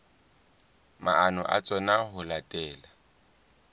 maano a tsona ho latela